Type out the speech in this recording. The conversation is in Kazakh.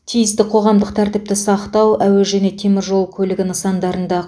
тиісті қоғамдық тәртіпті сақтау әуе және теміржол көлігі нысандарында